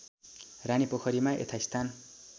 रानी पोखरीमा यथास्थान